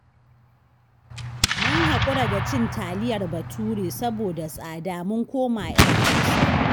Mun haƙura da cin taliyar Bature saboda tsada, mun koma 'yar Hausa